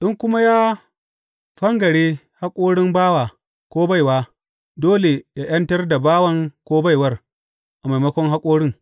In kuma ya fangare haƙorin bawa ko baiwa, dole yă ’yantar da bawan ko baiwar, a maimakon haƙorin.